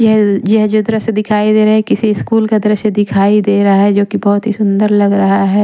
यह यह जो दृश्य दिखाई दे रहा है किसी स्कूल का दृश्य दिखाई दे रहा है जो कि बहुत ही सुंदर लग रहा है।